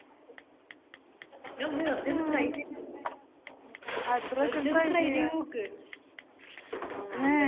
നീ ഒന്ന് വെർതെ ഒന്ന് try ചെയ്തത് നോക്ക് വെറുതെ ഒന്ന് try ചെയ്ത് നോക്ക്